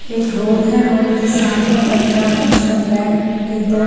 एक रोड है रोड के सामने पंजाब नेशनल बैंक के दो--